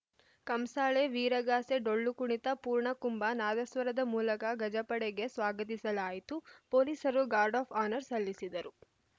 ಕಂಸಾಳೆ ವೀರಗಾಸೆ ಡೊಳ್ಳು ಕುಣಿತ ಪೂರ್ಣಕುಂಭ ನಾದಸ್ವರದ ಮೂಲಗ ಗಜಪಡೆಗೆ ಸ್ವಾಗತಿಸಲಾಯಿತು ಪೊಲೀಸರು ಗಾರ್ಡ್‌ ಆಫ್‌ ಹಾನರ್‌ ಸಲ್ಲಿಸಿದರು